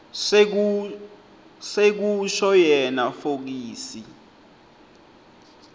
sekusho yena fokisi